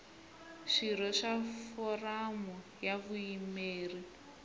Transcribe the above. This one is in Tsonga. swirho swa foramu ya vuyimeri